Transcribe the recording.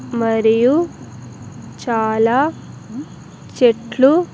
మరియు చాలా చెట్లు --